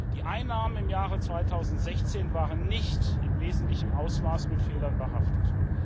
Die Einnahmen im Jahre 2016 waren nicht in wesentlichem Ausmaß mit Fehlern behaftet.